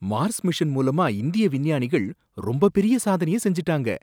Mars mission மூலாமா இந்திய விஞ்ஞானிகள் ரொம்ப பெரிய சாதனைய செஞ்சுட்டாங்க!